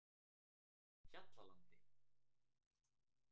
Hjallalandi